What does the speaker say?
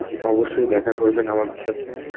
অবশ্যই দেখা করবেন আমাদের সাথে.